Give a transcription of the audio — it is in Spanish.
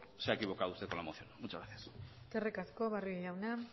se ha equivocado usted con la moción muchas gracias eskerrik asko barrio jauna